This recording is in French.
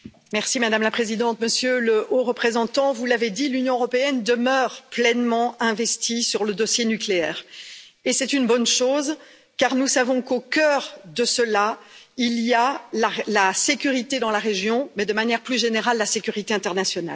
Madame la présidente, Monsieur le Haut représentant, vous l'avez dit, l'Union européenne demeure pleinement investie sur le dossier nucléaire, et c'est une bonne chose, car nous savons qu'au coeur de cette question, il y a la sécurité dans la région, mais de manière plus générale, la sécurité internationale.